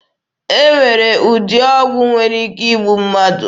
E nwere ụdị ọgwụ nwere ike igbu mmadụ.